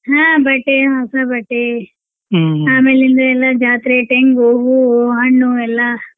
ಹಾ ಬಟ್ಟೆ ಹೊಸಾ ಬಟ್ಟೆ ಅಮೇಲಿಂದ ಎಲ್ಲಾ ಜಾತ್ರೆ ತೆಂಗು, ಹೂವು, ಹಣ್ಣು ಎಲ್ಲಾ.